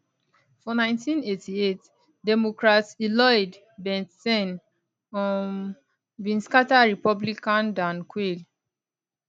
for 1988 democrat lloyd bentsen um bin scata republican dan quayle